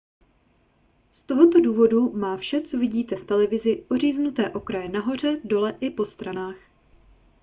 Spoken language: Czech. z tohoto důvodu má vše co vidíte v televizi oříznuté kraje nahoře dole i po stranách